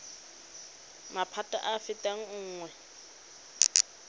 maphata a a fetang nngwe